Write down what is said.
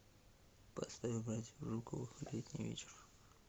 поставь братьев жуковых летний вечер